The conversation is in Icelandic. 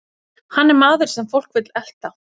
Hann er maður sem fólk vill elta.